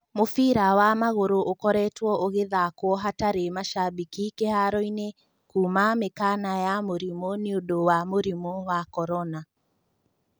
Mũbĩra wa magũrũ ũkoretwo ũgathakwo hatarĩ macambĩki kĩharo-inĩ kuuma mĩkana ya mũrimũ nĩũndũ wa mũrimũ wa korona.